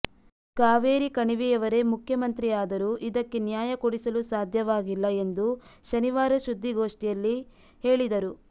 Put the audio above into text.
ಕಾವೇರಿ ಕಣಿವೆಯವರೇ ಮುಖ್ಯಮಂತ್ರಿಯಾದರೂ ಇದಕ್ಕೆ ನ್ಯಾಯ ಕೊಡಿಸಲು ಸಾಧ್ಯವಾಗಿಲ್ಲ ಎಂದು ಶನಿವಾರ ಸುದ್ದಿಗೋಷ್ಠಿಯಲ್ಲಿ ಹೇಳಿದರು